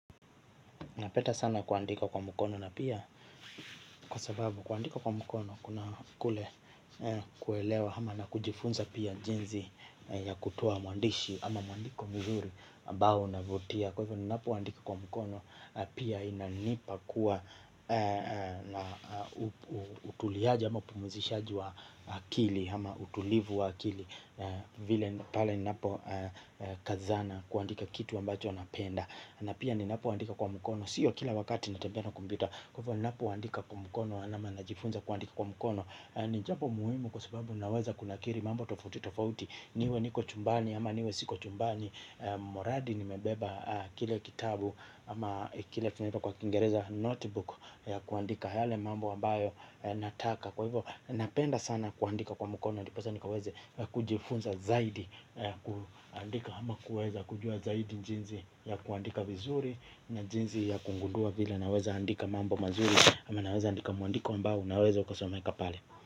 Napenda sana kuandika kwa mkono na pia kwa sababu kuandika kwa mkono kuna kule kuelewa ama na kujifunza pia jinsi ya kutoa mwandishi ama mwandiko mzuri ambao kuvutia kwaivo ninapoandika kwa mkono utuliaji ama upumuzishaji wa akili hama utulivu wa akili vile pale ninapo kazana kuandika kitu ambacho napenda na pia ninapo andika kwa mukono sio kila wakati natembea na kombyuta kwaivo ninapo andika kwa mukono nama najifunza kwa mukono ni japo muhimu kwa sababu naweza kuna kiri mambo tofauti tofauti niwe niko chumbani ama niwe siko chumbani moradi nimebeba kile kitabu ama kile kinaitwa kwa kingereza notebook ya kuandika yale mambo ambayo nataka kwa hivyo napenda sana kuandika kwa mukono ndiposa nikaweze kujifunza zaidi kuandika ama kuweza kujua zaidi njinzi ya kuandika vizuri na njinzi ya kungundua vile naweza andika mambo mazuri ama naweza andika muandiko ambao naweza ukasomeka pale.